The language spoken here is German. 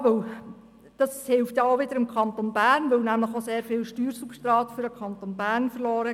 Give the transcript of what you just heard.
Das hälfe dann wiederum dem Kanton Bern, denn ihm geht sehr viel Steuersubstrat verloren.